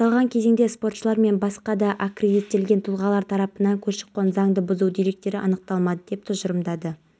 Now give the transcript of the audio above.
кооператив басшыларына ескерту жасап санитарлық жағдайы сын көтермейтіндерге айыппұл салды мәселен лана пәтер иелері кооперативі